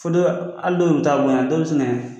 Fɔ dɔ b'a hali n'o bɛ taa bon yɛrɛ